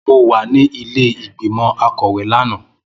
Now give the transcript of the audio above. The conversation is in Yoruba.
Mo wà ní ilé ìgbìmọ̀ akọ̀wé lánàá